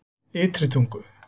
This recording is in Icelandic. Ytri Tungu